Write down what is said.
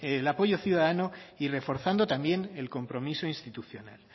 el apoyo ciudadano y reforzando también el compromiso institucional